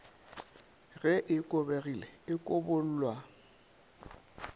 ge e kobegile e kobollwa